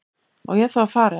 Á ég þá að fara. eða?